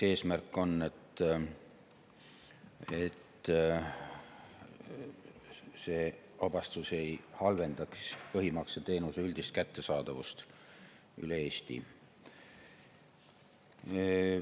Eesmärk on, et see vabastus ei halvendaks põhimakseteenuse üldist kättesaadavust üle Eesti.